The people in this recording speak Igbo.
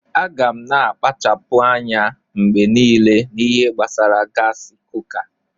Aga m na-akpachapụ anya mgbe niile n'ihe gbasara gaasi kuka.